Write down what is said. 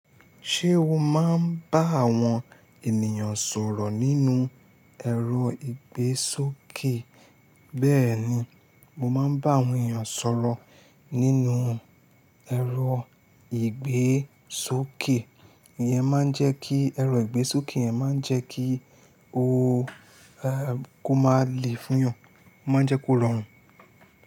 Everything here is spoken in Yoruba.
Ṣé o máa ń bá àwọn ènìyàn sọ̀rọ̀ nínú ẹ̀rọ ìgbésókè? Bẹ́ẹ̀ni, mo máa ń bá àwọn ènìyàn sọ̀rọ̀ nínú ẹ̀rọ ìgbésókè. Ìyẹn máa ń jẹ́ kí ẹ̀rọ ìgbésókè yẹn máa jẹ́ kí ó máa le fún yàn, ó máa ń jẹ́ kó rọrùn.